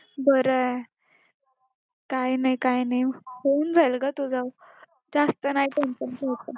बरंये काय नाय काय नाय होऊन जाईलग तुझं जास्त नाही tension घ्यायचं